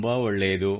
ತುಂಬಾ ಒಳ್ಳೆಯದು